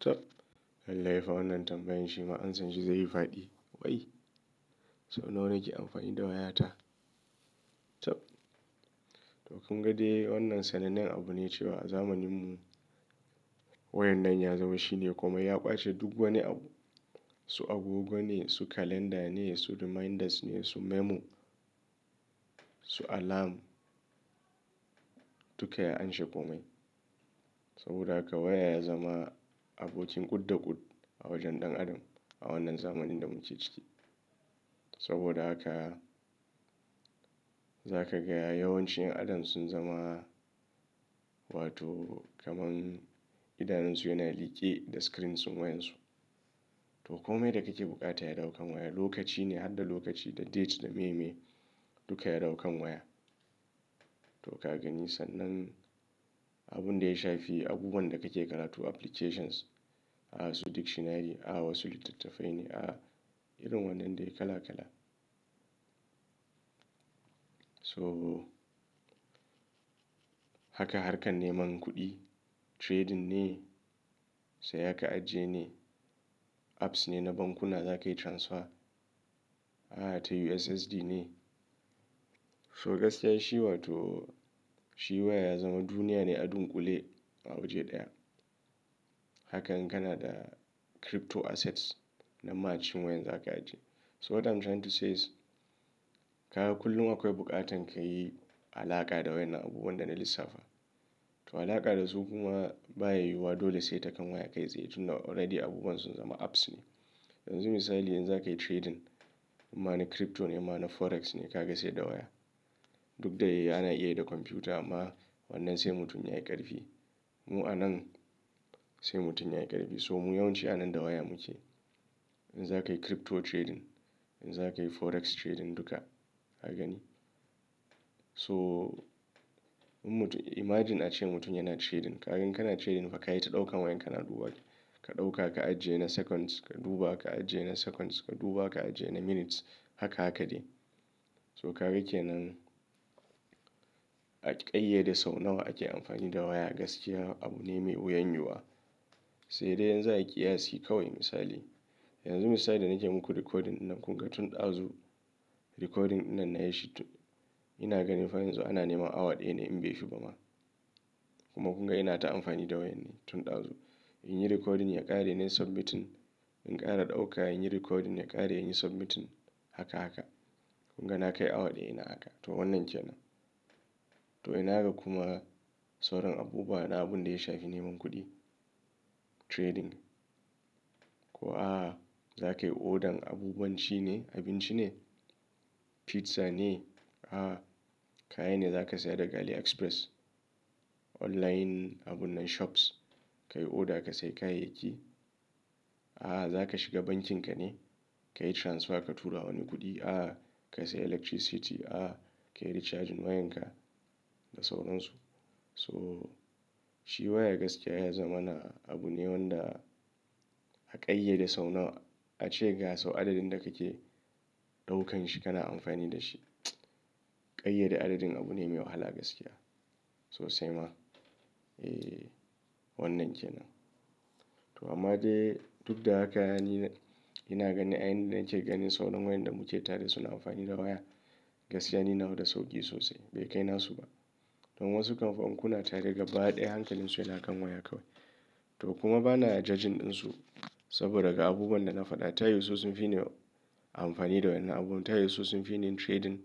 Chabb! Lalle fa wannan tambayan shi ma ansan shi zai yi faɗi. Wai? So nawa ake amfani da wayata. Tab! To kun gade wannan sanannen abu ne cewa a zamanin mu wayar nan ya zama shine kuma ya ƙwace duk wani abu. Su abubuwa ne, su kalanda ne, su reminders ne, su memo, su alarm duka ya amshe komai. Saboda haka waya ya zama abokin kud-da-kud a wajen ɗan adam a wannan zamanin da muke ciki. Saboda haka za ka gaya yawancin 'yan adam sun zama wato kamar idanunsu yana like da screens wayan su. To komai da kake buƙata ya ɗaukan waya, lokaci ne har da lokaci da dates da maye-maye duka ya ɗaukan waya. To ka gani sannan abun da ya shafi abubuwan da kake karatu applications, a wasu dictionary, a wasu littattafai ne, a irin wannan dai kala-kala. Toh! Haka harkan neman kuɗi trading ne, sai ka ajiye ne, apps ne na bankuna za ka yi transfer, a'a ta USSD ne. So gaskiya shi wato shi waya ya zama duniya ne a dunƙule a waje ɗaya. Hakan kana da crypto assets na ma a cikin wayan za ka ajiye. So what I'm trying to say is, ka ga kullum akwai buƙatan ka yi alaka da waya na abubuwan da na lissafa. To alaka da su kuma baya yiwuwa dole sai ta kan waya kai tsaye tunda already abubuwan sun zama apps ne. Yanzu misali in za ka yi trading ma na crypto ne in ma na forex ne ka ga sai da waya. Duk da yake ana iya da kwamfuta amma wannan sai mutum ya yi ƙarfi. Mu a nan sai mutum ya yi ƙarfi so mu yawanci a nan da waya muke. In za ka yi crypto trading, in za ka yi forex trading duka ka gani. So in mutum imagine ace mutum yana trading. Ka gani kana trading fa ka yi ta ɗaukan wayan kana duba. Ka ɗauka ka ajiye na seconds ka duba, ka ajiye na seconds ka duba, ka ajiye na minutes haka-haka ce. So ka ga kenan a ƙayyade sau nawa ake amfani da waya gaskiya abu ne mai wuyan yiwuwa. Sai dai in za'ai ƙiyasi kawai misali. Yanzu misali da nake muku recording nan kunga tun ɗazu recording nan na yi shi to ina ganin fa yanzu ana nema awa ɗaya ne in bai fi ba ma. Kuma kunga ina ta amfani da wayan ne tun ɗazu. In yi recording ya ƙare na yi submitting, in ƙara ɗauka in yi recording ya ƙare in yi submitting haka-haka. Kunga na kai awa ɗaya ina haka to wannan ke nan. To ina ga kuma sauran abubuwa na abun da ya shafi neman kuɗi trading. Ko a za ka yi order abubuwan ci ne, abinci ne, pizza ne, a kayan ne za ka saya daga Ali express online abun nan shops. Ka yi order ka sai kayayyaki. A'a za ka shiga bankin ka ne, ka yi transfer ka tura wani kuɗi, a'a ka sai electricity, a'a ka yi recharging wayan ka da sauran su. So shi waya gaskiya ya zama na abu ne wanda a ƙayyade sau nawa ace ga sau adadin da kake ɗaukan shi kana amfani da shi. Ƙayyade adadin abu ne mai wahala gaskiya sosai ma. Eh wannan ke nan. To amma dai duk da haka ni ina ganin a yayin da nake ganin sauran wayan da muke tare suna amfani da waya gaskiya ni nawa da sauƙi sosai bai kai na su ba. To wasu kam fa in kuna tare gaba ɗaya hankalin su yana kan waya kawai. To kuma bana judging ɗin su saboda ga abubuwan da na faɗa ta yiyu su sun fi ni amfani da waya na abubuwa. Ta yau su sun fi ni yin trading,